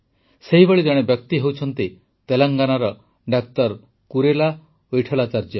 ସେହିଭଳି ଜଣେ ବ୍ୟକ୍ତି ହେଉଛନ୍ତି ତେଲେଙ୍ଗାନାର ଡା କୁରେଲା ୱିଟଠଲାଚାର୍ଯ୍ୟ